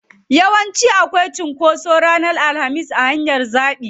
Yawanci akwai cunkoso ranar alhamis a hanyar jabi.